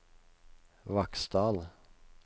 Vaksdal